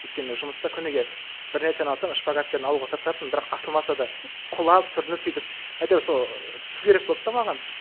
өйткені мен жұмыста күніге бір нәрсені алсам шпагатпен алуға тырысатынмын бірақ та ашылмаса да құлап сүрініп сөйтіп әйтеуір сол түсу керек болды да маған